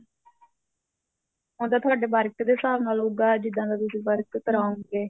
ਉਹ ਤਾਂ ਤੁਹਾਡੇ work ਦੇ ਹਿਸਾਬ ਨਾਲ ਹੋਊਗਾ ਜਿੱਦਾਂ ਦਾ ਤੁਸੀਂ work ਕਰਾਉਗੇ